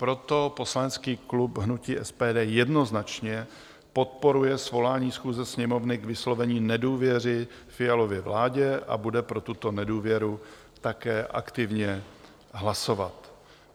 Proto poslanecký klub hnutí SPD jednoznačně podporuje svolání schůze Sněmovny k vyslovení nedůvěry Fialově vládě a bude pro tuto nedůvěru také aktivně hlasovat.